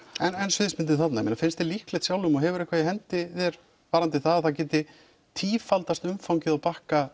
en sviðsmyndir þarna finnst þér líklegt sjálfum og hefurðu eitthvað í hendi þér varðandi það að það geti tífaldast umfangið á Bakka